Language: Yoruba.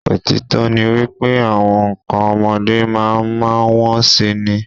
Òtítọ́ ni wípé, àwọn ǹkọ ọmọdé máa ma wón si ni.